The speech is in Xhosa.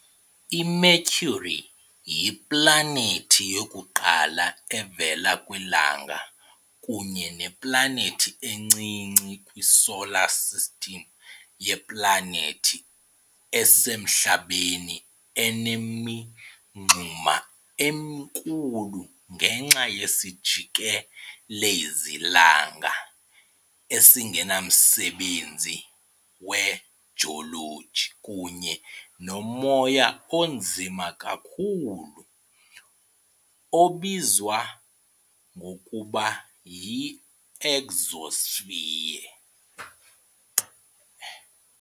I-Mercury yiplanethi yokuqala evela kwiLanga kunye neplanethi encinci kwi- Solar System. Yiplanethi esemhlabeni enemingxuma enkulu ngenxa yesijikelezi-langa esingenamsebenzi wejoloji kunye nomoya onzima kakhulu obizwa ngokuba yi-exosphere .